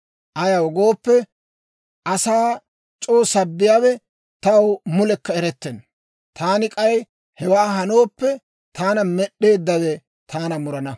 Ayaw gooppe, asaa c'oo sabbiyaawe taw mulekka erettenna. Taani k'ay hewaa hanooppe, taana Med'd'eeddawe taana murana.